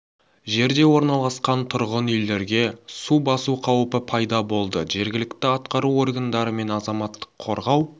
жерде орналасқан тұрғын үйлерге су басу қауіпі пайда болды жергілікті атқару органдары мен азаматтық қорғау